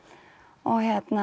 og